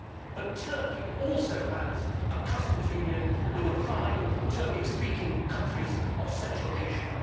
but it also has a customs union with the five Turkic speaking countries of Central Asia.